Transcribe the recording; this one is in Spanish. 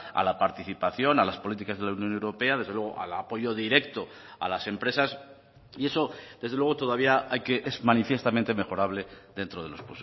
a la participación a las políticas de la unión europea desde luego al apoyo directo a las empresas y eso desde luego todavía hay que es manifiestamente mejorable dentro de los